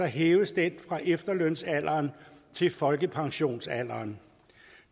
hæves denne fra efterlønsalderen til folkepensionsalderen